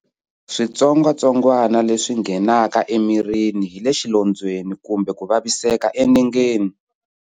Switsongwatsongwana leswi nghenaka emirini hi le xilondzweni kumbe ku vaviseka enengeni.